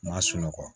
Ma sunɔgɔ